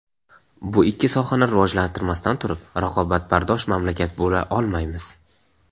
Bu ikki sohani rivojlantirmasdan turib raqobatbardosh mamlakat bo‘la olmaymiz.